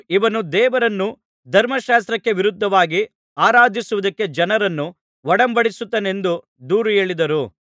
ಇವನು ದೇವರನ್ನು ಧರ್ಮಶಾಸ್ತ್ರಕ್ಕೆ ವಿರುದ್ಧವಾಗಿ ಆರಾಧಿಸುವುದಕ್ಕೆ ಜನರನ್ನು ಒಡಂಬಡಿಸುತ್ತಾನೆಂದು ದೂರುಹೇಳಿದರು